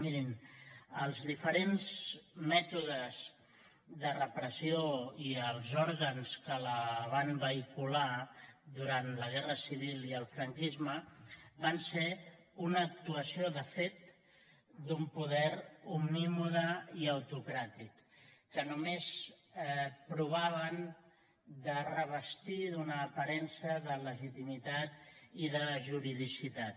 mirin els diferents mètodes de repressió i els òrgans que la van vehicular durant la guerra civil i el franquisme van ser una actuació de fet d’un poder omnímode i autocràtic que només provaven de revestir d’una aparença de legitimitat i de juridicitat